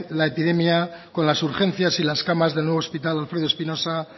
la epidemia con las urgencias y las camas del nuevo hospital alfredo espinosa